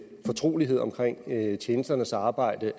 fortrolighed omkring tjenesternes arbejde